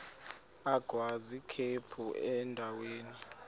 agwaz ikhephu endaweni